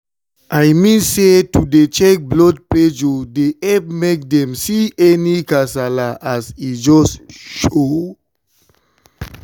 i mean say to dey check blood pressure dey epp make dem see any kasala as e just show.